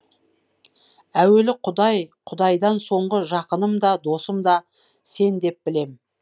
әуелі құдай құдайдан соңғы жақыным да досым да сен деп білем